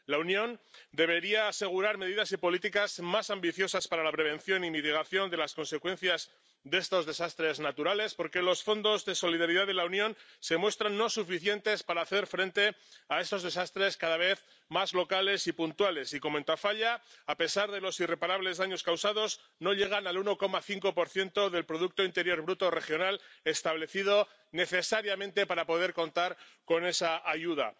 La Unión debería asegurar medidas y políticas más ambiciosas para la prevención y mitigación de las consecuencias de estos desastres naturales, porque los fondos de solidaridad de la Unión se muestran insuficientes para hacer frente a estos desastres cada vez más locales y puntuales, como en Tafalla, ya que, a pesar de los irreparables daños causados, estos no llegan al 1,5 del producto interior bruto regional establecido necesariamente para poder contar con esa ayuda.